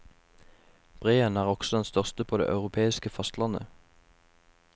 Breen er også den største på det europeiske fastlandet.